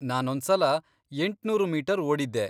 ನಾನೊಂದ್ಸಲ ಎಂಟು ಮೀಟರ್ ಓಡಿದ್ದೆ.